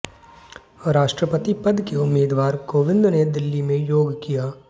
राष्ट्रपति पद के उम्मीदवार कोविंद ने दिल्ली में योग किया